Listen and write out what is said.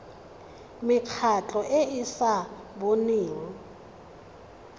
mekgatlho e e sa boneng